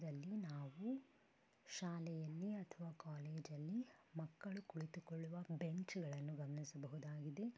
ಇದರಲ್ಲಿ ನಾವು ಶಾಲೆಯಲ್ಲಿ ಅಥವಾ ಕಾಲೇಜ್ ಅಲ್ಲಿ ಮಕ್ಕಳು ಕುಳಿತುಕೊಳ್ಳುವ ಬೆಂಚ್ ಗಳನ್ನು ಗಮನಿಸಬಹುದಾಗಿದೆ .